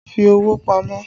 Fi owó pamọ́!